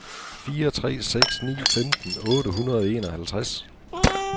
fire tre seks ni femten otte hundrede og enoghalvtreds